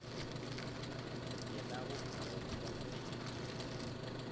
yena bophelo bo mo pele